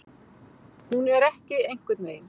Hún er ekki einhvern veginn.